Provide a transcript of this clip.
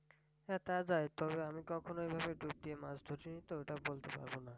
হ্যাঁ তা যায় তবে আমি কখনো ঐভাবে ডুব দিয়ে মাছ ধরি নি তো তা বলতে পারবো না।